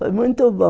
Foi muito bom.